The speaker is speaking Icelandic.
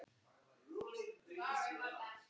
Lykt af frönskum kartöflum